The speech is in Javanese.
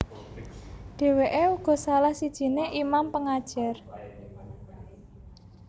Dèwèké uga salah sijiné imam pengajar